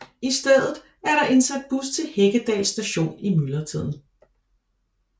I stedet er der indsat bus til Heggedal Station i myldretiden